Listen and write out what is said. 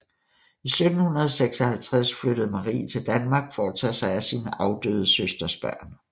I 1756 flyttede Marie til Danmark for at tage sig af sin afdøde søsters børn